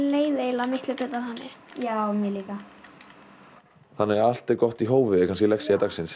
leið eiginlega miklu betur þannig já mér líka þannig að allt er gott í hófi er kannski lexía dagsins